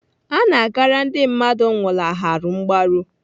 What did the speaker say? Ana agara ndị mmadụ nwụlaharụ mgbaru.